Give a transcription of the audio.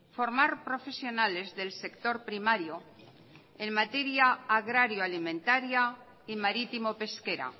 formar profesionales del sector primario en materia agrario alimentaria y marítimo pesquera